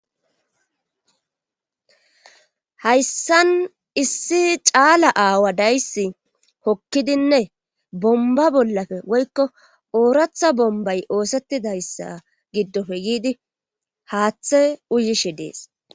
Hayssan issi caala aawa dayssi hokkidinne bomba bollafe woykko ooratha bombay oosettidayssa giddofe yiidi haaththe uyishe dees